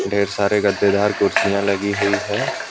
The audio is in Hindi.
ढेर सारे गद्देदार कुर्सियां लगी हुई है।